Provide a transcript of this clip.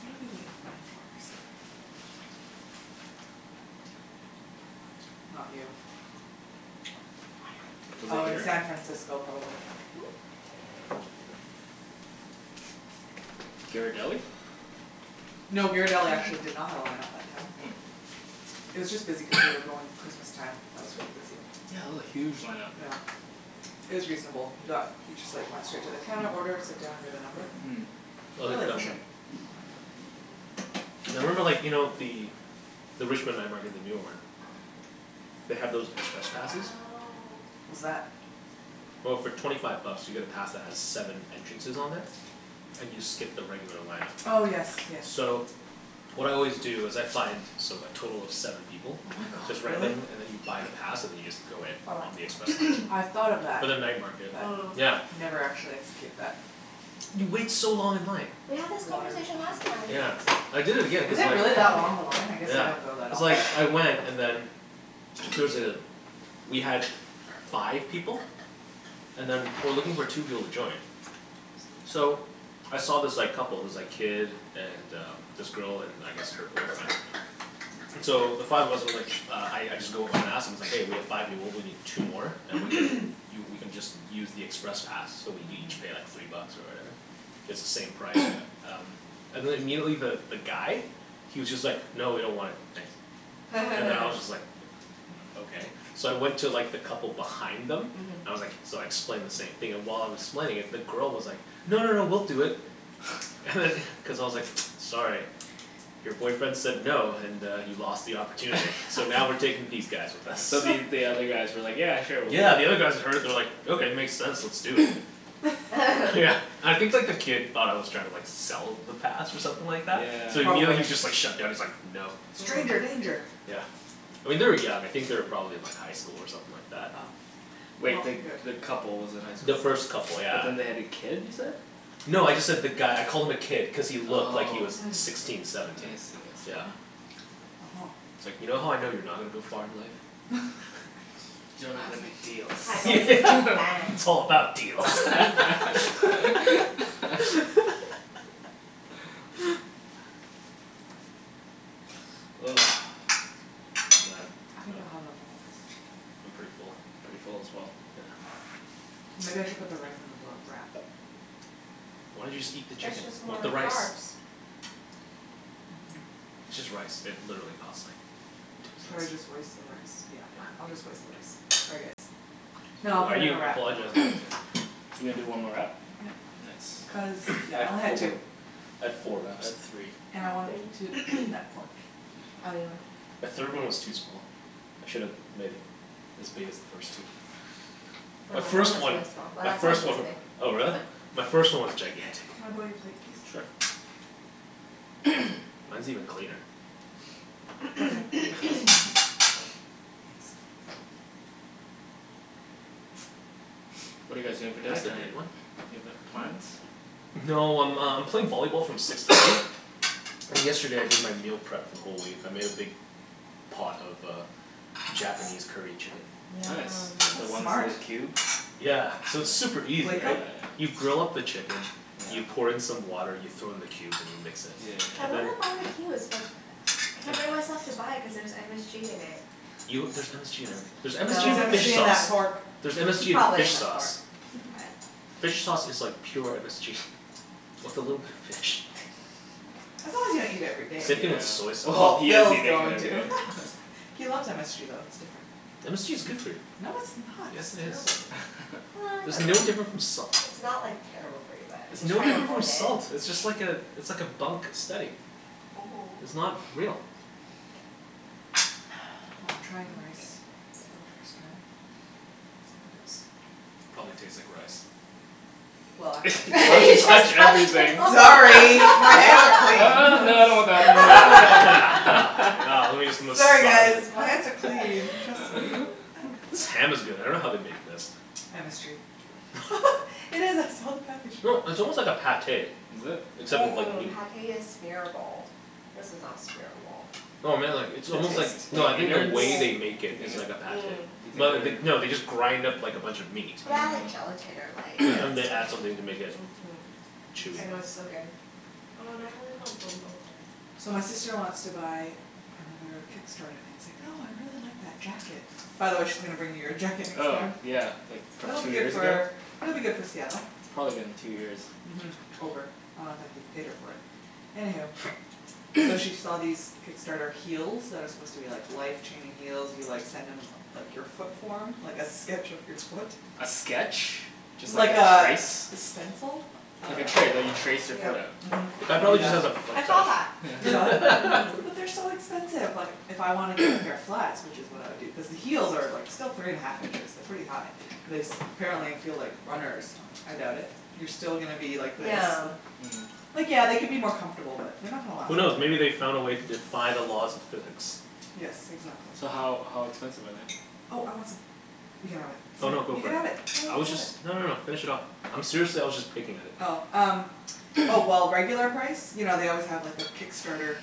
What did we wait in line for recently? Not you. Was it Oh in here? San Francisco probably. Ghirardelli? No, Ghirardelli actually did not have a line up that time. Oh. It was just busy cuz we were going Christmas time, that was really busy. Yeah, it was a huge lineup. Yeah. It was reasonable. We got, we just like went straight to the counter order, sit down, get a number. Mm. I Really like them. efficient. Yeah, I remember like, you know the, the Richmond night market, the newer one, they have those express passes. What's that? Well, for twenty five bucks you get a pass that has seven entrances on there, and you skip the regular line up. Oh yes yes. So what I always do is I find so like, total of seven people. Oh my god, Just really? randomly, and then you buy the pass and then you just go in. For what? On the express I line. thought of that For but the night market. Yeah. Mm. Never actually execute that. You wait so long in line. We had this Water conversation behind last you time. if you Yeah. want some I did it again Is cuz it like really that long, the line? I guess I Yeah, don't go that cuz often. like, I went and then there was a, we had five people and then we were looking for two people to join. So I saw this like couple, this like kid and uh this girl and I guess her boyfriend. So the five of us were like, uh I I just go up and ask, and I was like, "Hey we have five people we need two more and we can, you we can just use the express pass so we each pay like three bucks or whatever, it's the same price." And then immediately the guy he was just like, "No, we don't want it, thanks." And then I was just like, "Okay." So I went to like the couple behind them, I was like, so I explained the same thing and while I was explaining it the girl was like, "No, no, no, we'll do it." And then cuz I was like, "Sorry, your boyfriend said no and uh he lost the opportunity." So now we're taking these guys with us. So the, you, the other guys were like, "Yeah, sure we'll do it." Yeah, the other guys that heard it they were like, "Okay, it makes sense, let's do it." Yeah, I think like the kid thought I was trying to like sell the pass or something like that? So Yeah. immediately he Probably. was just like shutdown, he's like, "No." Stranger danger! Yeah, I mean they were young, I think they were probably in like highschool or something like that. Oh. Wait, the, the couple was in The highschool? first couple But yeah. then they had a kid you said? No, I just said the guy, I called him a kid cuz he looked like he was sixteen, I seventeen. see, I see. Yeah. Uh huh. It's like, "You know how I know you're not gonna to go far in life?" You dunno how to make yeah, deals. it's all about deals. Ugh, man I think I'll have a little piece of I'm chicken. pretty full. Pretty full as well. Yeah. Maybe I should put the rice in the roll, wrap. Why don't you just eat the It's chicken just with more the rice. carbs. Mhm. It's just rice, it literally cost like two Should I cents. just waste the rice, yeah, fine, I'll just waste the rice, sorry, guys. No, I'll Why put are it in you a wrap, I want a apologizing to wrap. him? You're gonna do one more wrap? Yep Cuz Nice. I yeah, I had only had four, two. I had four wraps. I had three. And I I wanted to had three. eat that pork. The third one was too small. I should've made it as big as the first two. My My last one first was one, really small, my first one, oh but. really? My first one was gigantic. Can I borrow your plate please? Sure. Mine's even cleaner. Okay, I'll take this. Thanks. What are you guys doing for dinner Pass the tonight? dirty one? Do you have a, plans? No, I'm um playing volleyball from six to eight. And yesterday I did my meal prep for the whole week. I made a big pot of uh Japanese curry chicken. Yum. Nice. The That's one's that smart. are cubed? Yeah, so it's super easy, Glico? right? You grill up the chicken, you pour in some water, you throw in the cubes, and you mix it. Yeah I yeah And then wanna yeah. buy the cubes but I can't bring myself to buy it cuz there's MSG in it. You, there's MSG in everything. There's MSG Threre's No. in MSG fish in that sauce. pork There's MSG in Probably fish in the sauce. pork, but. Fish sauce is like pure MSG, with a little bit of fish. As long as you don't eat it every day. Same Yeah. thing with soy Oh, sauce. Well he is Phil's eating it going every to. day. He loves MSG though, it's different. MSG is good for you. No, it's not. Yes, It's it is. terrible. Well, I There's don't no know. difference from salt. It's not like terrible for you but I It's no try to different from avoid it. salt! It's just like uh it's like a bunk steady. It's Mhm. not real. Well, I'm trying rice, for the first time. Probably tastes like rice. Well Sorry, my hands No are clean. no, no, I don't want that. Yeah, lemme just Sorry massage guys, it. my hands are clean, trust me. This ham is good. I dunno how they make this. MSG. No, it's almost like a Pâté. Is it? Except Mm- it's like mm, meat. Pâté is smearable, this is not smearable. No, I mean like, it's almost like, no I The mean the innards? way they Do make you it is like think, a do Pâté. you Mm. Well, they, think they, no they're they just grind up like a bunch of meat. Well, they add like Mm. gelatin or Yeah, and like they add something to make it Mhm, chewy. I know it's so good. Oh now I really want Ben Bo So my Hui. sister wants to buy another Kickstarter thing, she's like, "Oh I really like that jacket." By the way she's gonna bring you your jacket next Oh time. yeah, like from It'll be two good years ago? for, it'll be good for Seattle. It's probably been two years. Mhm. Over, I don't think he's paid her for it. Anywho. So she saw these Kickstarter heels that are supposed to be like life-changing heels, you like send them like your foot form, like a sketch of your foot. A sketch? Just like Like a a, trace? a stencil? I Like a dunno tra- like you trace your foot Mhm. The out. guy You do prolly just that. has a foot I saw that. fetish. You saw it? Mhm. But they're so expensive, like if I want to get a pair of flats, which is what I would do cuz the heels are like still three and half inches, they're pretty high, and this apparently feel like runners, I doubt it. You're still gonna be like this Yeah. Like yeah, they could be more comfortable but they're not gonna last Who forever knows, maybe they found a way to defy the laws of physics. Yes, exactly. So how, how expensive are they? Oh I want some, you can have it. Oh no, go You for can it. have it. Phil, you I can was have just, it. no no no, finish it off. I'm seriously, I was just picking at it. Oh, um, oh well, regular price, you know they always have like the Kickstarter